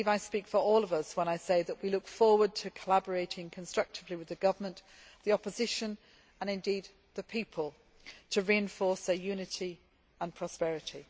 I believe I speak for all of us when I say that we look forward to collaborating constructively with the government, the opposition and indeed the people to reinforce their unity and prosperity.